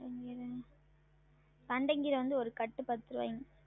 உம் தண்டங்கீர வந்து ஒரு கட்டு பத்து ருவாய்ங்க